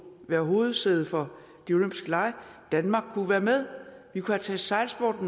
være hovedsæde for de olympiske lege danmark kunne være med vi kunne tage sejlsport